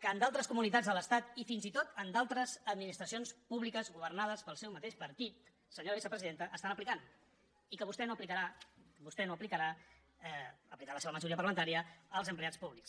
que en d’altres comunitats de l’estat i fins i tot en d’altres administracions públiques governades pel seu mateix partit senyora vicepresidenta estan aplicant i que vostè no aplicarà aplicarà la seva majoria parlamentària als empleats públics